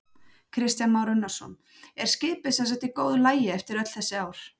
Kristján Már Unnarsson: Er skipið semsagt í góðu lagi eftir öll þessi ár?